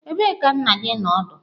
Ebee ka nna gi nọ ọdụ?